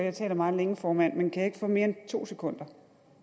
at tale meget længe formand kan jeg ikke få mere end to sekunder